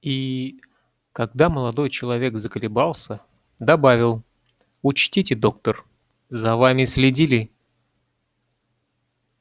и когда молодой человек заколебался добавил учтите доктор за вами следили